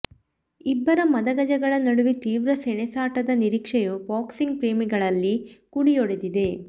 ಇಬ್ಬರ ಮದಗಜಗಳ ನಡುವೆ ತೀವ್ರ ಸಣೆಸಾಟದ ನಿರೀಕ್ಷೆಯು ಬಾಕ್ಸಿಂಗ್ ಪ್ರೇಮಿಗಳಲ್ಲಿ ಕುಡಿಯೊಡೆದಿದೆ